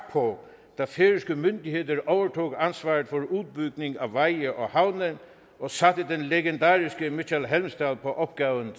på da færøske myndigheder overtog ansvaret for udbygning af veje og havne og satte den legendariske mikkjal helmsdal på opgaven